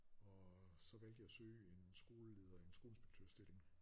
Og så valgte jeg at søge en skoleleder en skoleinspektørstilling